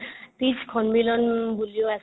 তিজ সন্মিলন বুলিও আছে